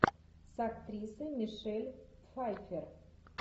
с актрисой мишель пфайффер